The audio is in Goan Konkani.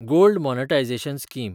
gold monetization scheme